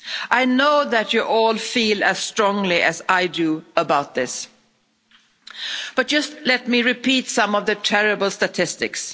I know that you all feel as strongly as I do about this, but just let me repeat some of the terrible statistics.